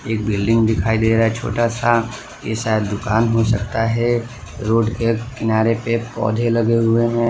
एक बिल्डिंग दिखाई दे रहा है छोटा सा ऐ शायद दुकान हो सकता है रोड के किनारे पे पौधे लगे हुए हैं।